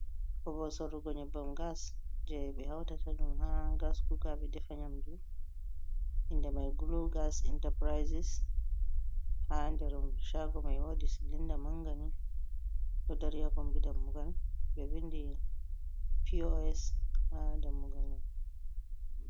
Babal sorugo nyebbam gas je ɓe hauta ɗum ha gas kuka ɓe ɗefa nyamdu inɗe mai gulu gas enterprises ha nder shago mai wodi silinda mangani ɗo dari ha kombi dammugal be vindi pos ha dammugal mai.